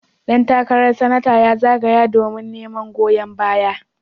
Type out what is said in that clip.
Dan takarar Sanatan ya zagaya domin neman goyon baya.